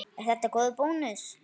Er þetta góður bónus?